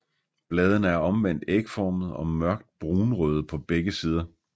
Bladene er omvendt ægformede og mørkt brunrøde på begge sider